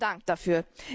Vielen Dank dafür.